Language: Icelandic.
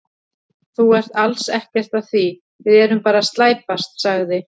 Þú ert alls ekkert að því, við erum bara að slæpast, sagði